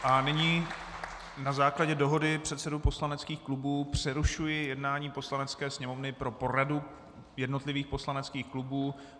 A nyní na základě dohody předsedů poslaneckých klubů přerušuji jednání Poslanecké sněmovny pro poradu jednotlivých poslaneckých klubů.